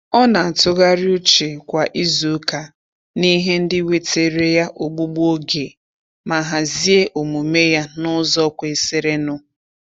Ọ na-atụgharị uche kwa izuụka n'ihe ndị wetere ya ogbugbu oge, ma hazie omume ya n'ụzọ kwesirinụ.